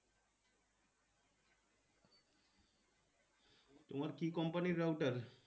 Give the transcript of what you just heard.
তোমার কি Company র router